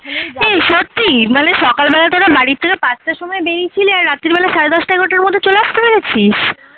এ সত্যি মানে সকাল বেলাটা ওরম বাড়ি থেকে পাঁচটার সময় বেরিয়েছিলি আর রাতের বেলা সাড়ে দশটা এগারোটার মধৌ চলে আসতে পেরেছিস?